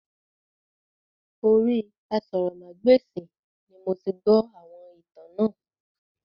Orí aṣórómagbesìn ni moti gbó àwọn ìtàn náà